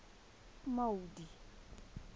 maudi